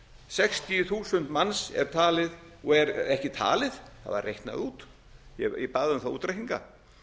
sextíu þúsund manns er talið og er ekki talið það var reiknað út ég bað um þá útreikninga